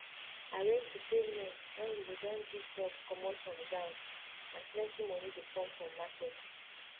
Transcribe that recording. arrange to pay loan when you go don dig crops comot from ground and plenty moni dey come from market